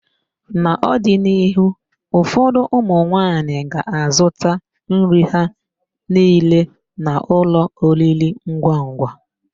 N'ọdịnihu, ụfọdụ ụmụnwaanyị ga azụta nri ha niile n'ụlọ oriringwangwa.